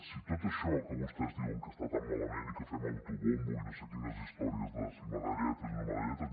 si tot això que vostès diuen que està tan malament i que fem autobombo i no sé quines històries de si medalletes i no medalletes